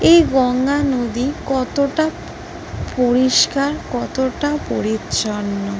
এই গঙ্গা নদী কতটা পরিষ্কার কতটা পরিচ্ছন্ন।